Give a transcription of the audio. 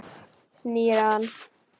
Snýr á hann.